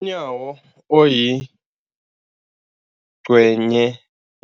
UNyawo, oyingcenye